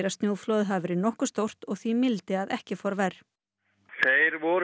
snjóflóðið hafi verið nokkuð stórt og því mildi að ekki fór verr þeir voru